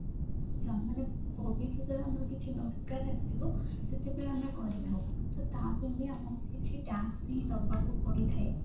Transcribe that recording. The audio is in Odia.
ମାନେ ଭବିଷ୍ୟତ ରେ ଆମର କିଛି ଦରକାର ଆସିବ ସେଥିପାଇଁ ଆମେ କରିଥାଉ ତ ତା ପାଇଁ ବି ଆମକୁ କିଛି tax ବି ଦବାକୁ ପଡିଥାଏ।